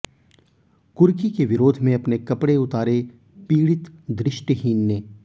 कुर्की के विरोध में अपने कपड़े उतारे पीडि़त दृष्टिहीन ने